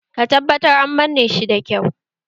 Ka tabbatar an manne shi da kyau!